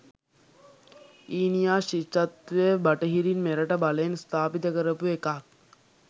ඊනියා ශිෂ්ඨත්වය බටහිරින් මෙරට බලෙන් ස්ථාපිත කරපු එකක්